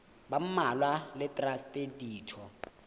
ba mmalwa le traste ditho